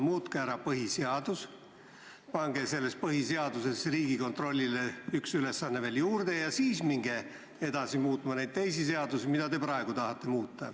Muutke ära põhiseadus, pange põhiseaduses Riigikontrollile üks ülesanne veel juurde ja siis minge edasi muutma neid teisi seadusi, mida te praegu tahate muuta.